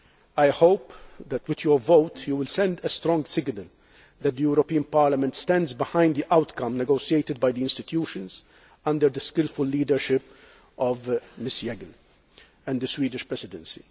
I hope that, with your vote, you will send a strong signal that the European Parliament stands behind the outcome negotiated by the institutions under the skilful leadership of Ms Jeggle and the Swedish Presidency.